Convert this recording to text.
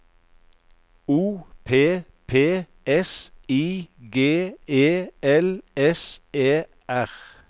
O P P S I G E L S E R